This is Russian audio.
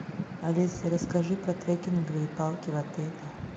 алиса расскажи про трекинговые палки в отеле